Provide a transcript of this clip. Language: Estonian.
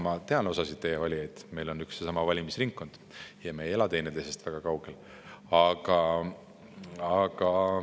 Ma tean osa teie valijatest, sest meil on üks ja sama valimisringkond ja me ei ela teineteisest väga kaugel.